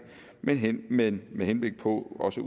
men men med henblik på også